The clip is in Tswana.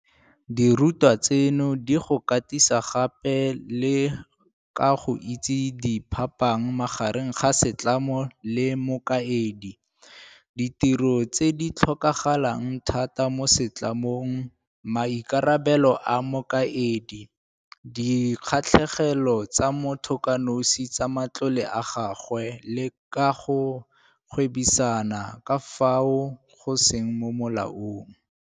Dirutwa tseno di go katisa gape le ka go itse phapang magareng ga setlamo le mokaedi, ditiro tse di tlhokagalang thata mo setlamong, maikarabelo a mokaedi, di kgatlhegelo tsa motho kanosi tsa matlole a gagwe le ka ga go gwebisana ka fao go seng mo molaong.